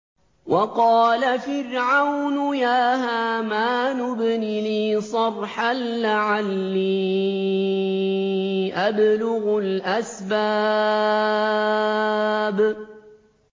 وَقَالَ فِرْعَوْنُ يَا هَامَانُ ابْنِ لِي صَرْحًا لَّعَلِّي أَبْلُغُ الْأَسْبَابَ